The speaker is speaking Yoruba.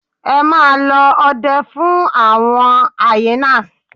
Emma lọ ọdẹ fun awọn hyenas